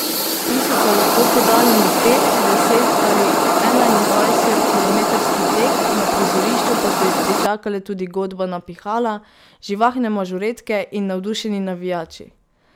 Ti so se lahko podali na pet, deset ali enaindvajset kilometrski tek, na prizorišču pa so jih pričakale tudi godba na pihala, živahne mažoretke in navdušeni navijači.